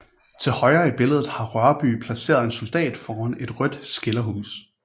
Til højre i billedet har Rørbye placeret en soldat foran et rødt skilderhus